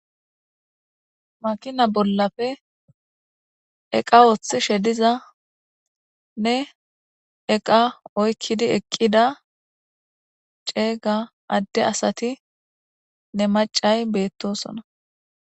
makina bollafe eqa woththi shediza nne eqa oykkidi eqqida ceega adde asati ne macay beettosona